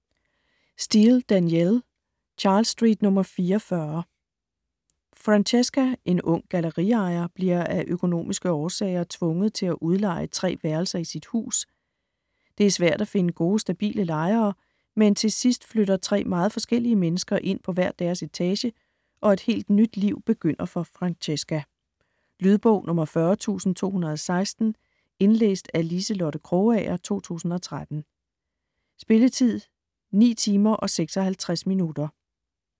Steel, Danielle: Charles Street nr. 44 Francesca, en ung galleriejer, bliver af økonomiske årsager tvunget til at udleje tre værelser i sit hus. Det er svært at finde gode, stabile lejere, men til sidst flytter tre meget forskellige mennesker ind på hver deres etage og et helt nyt liv begynder for Francesca. Lydbog 40216 Indlæst af Liselotte Krogager, 2013. Spilletid: 9 timer, 56 minutter.